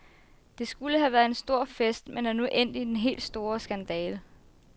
Det skulle have været en stor fest, men er nu endt i den helt store skandale.